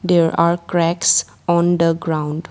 There are cracks on the ground.